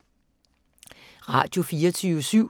Radio24syv